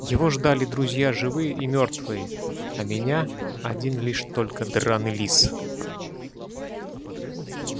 его ждали друзья живые и мёртвые а меня один лишь только драный лис